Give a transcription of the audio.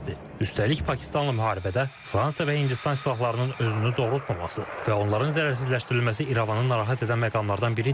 Üstəlik Pakistanla müharibədə Fransa və Hindistan silahlarının özünü doğrultmaması və onların zərərsizləşdirilməsi İrəvanı narahat edən məqamlardan biridir.